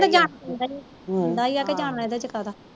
ਹੁੰਦਾ ਹੀ ਕੇ ਜਾਣਾ ਏਹਦੇ ਚ ਏਹਦੇ ਚ ਕਾਦਾ